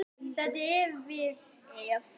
Þetta á við ef